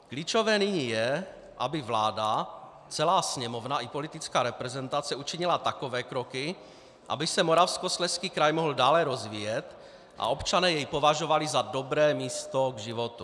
Klíčové nyní je, aby vláda, celá Sněmovna i politická reprezentace učinily takové kroky, aby se Moravskoslezský kraj mohl dále rozvíjet a občané jej považovali za dobré místo k životu.